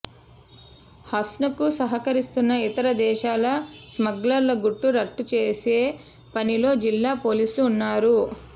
హసన్కు సహకరిస్తున్న ఇతర దేశాల స్మగ్లర్ల గుట్టు రట్టుచేసే పనిలో జిల్లా పోలీసులు ఉన్నారు